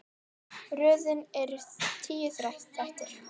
Röðin er tíu þættir.